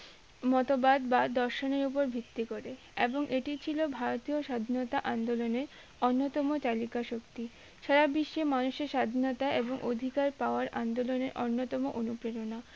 মতবাদ বা দর্শনের উপর ভিত্তি করে এবং এটি ছিল ভারতীয় স্বাধীনতা আন্দোলনের অন্যতম তালিকা শক্তি, সারা বিশ্বে মনুষ্য স্বাধীনতার এবং অধিকার পাওয়ার আন্দোলনে অন্যতম অনুপ্রেরণা